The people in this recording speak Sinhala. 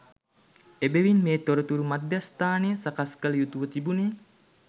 එබැවින් මේ තොරතුරු මධ්‍යස්ථානය සකස් කළ යුතු ව තිබුණේ